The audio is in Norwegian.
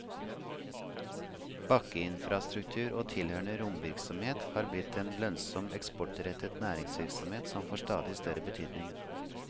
Bakkeinfrastruktur og tilhørende romvirksomhet er blitt en lønnsom eksportrettet næringsvirksomhet som får stadig større betydning.